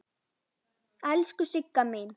Elsku Sigga mín.